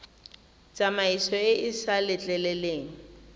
tsamaiso e e sa letleleleng